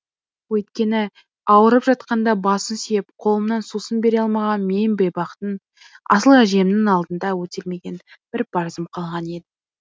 өйткені ауырып жатқанда басын сүйеп қолымнан сусын бере алмаған мен бейбақтың асыл әжемнің алдында өтелмеген бір парызым қалған еді